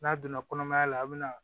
N'a donna kɔnɔmaya la a bi na